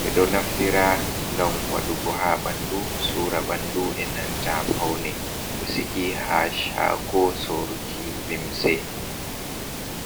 ɓeɗo naftira ngam wadugu ha bandu, sura bandu, enanta faune. ɗo sigi ha shago soruki limse.